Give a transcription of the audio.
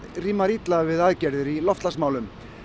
rímar illa við aðgerðir í loftslagsmálum